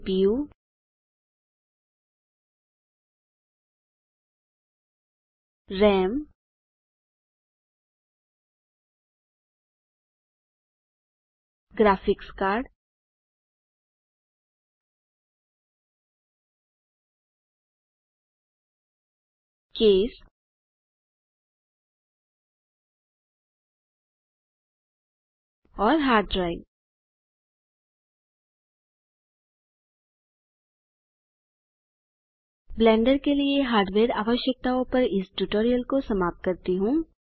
CPU RAM graphics card case और hard drive Blender के लिए हार्डवेयर आवश्यकताओँ पर इस टूयटोरियल को समाप्त करता हूँ